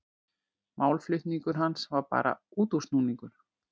Málflutningur hans var bara útúrsnúningur.